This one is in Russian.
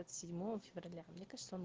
седьмого февраля мне кажется он